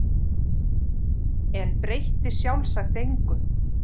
En breytti sjálfsagt engu.